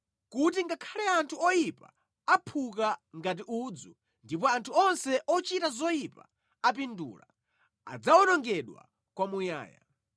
kuti ngakhale anthu oyipa aphuka ngati udzu ndipo anthu onse ochita zoyipa apindula, adzawonongedwa kwamuyaya.